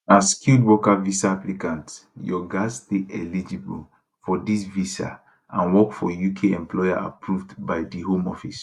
as skilled worker visa applicant your gatz dey eligible for dis visa and work for uk employer approved by di home office